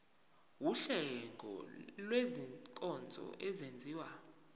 wuhlengo lwezinkonzo ezenziwa